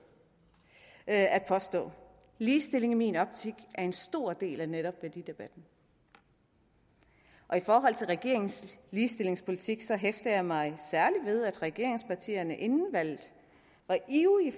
at at påstå ligestilling i min optik er en stor del af netop værdidebatten og i forhold til regeringens ligestillingspolitik hæfter jeg mig særlig ved at regeringspartierne inden valget var ivrige